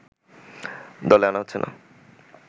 দলে আনা হচ্ছে না